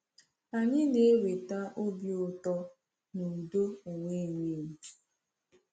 Anyị na-enweta obi ụtọ na udo ụwa enweghị.